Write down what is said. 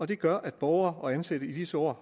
det gør at borgere og ansatte i disse år